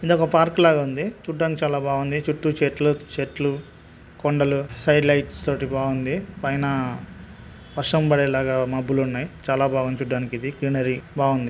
ఇదొక పార్క్ లాగా ఉంది. చూడ్డానికి చాలా బాఉంది. చుట్టూ చెట్లు చెట్లు కొండలు సైడ్ లైట్స్ తోటి బాఉంది. పైన వర్షం పడేలాగా మబ్బులు ఉన్నాయి. చాలా బాఉంది చూడ్డానికి ఇది. గ్రీనరీ బాఉంది.